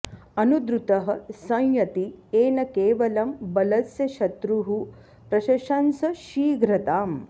अनुद्रुतः संयति येन केवलं बलस्य शत्रुः प्रशशंस शीघ्रताम्